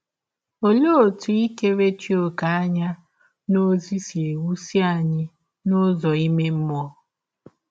Ọlee ọtụ ikerechi ọ̀kè anya n’ọzi si ewụsi anyị ike n’ụzọ ime mmụọ?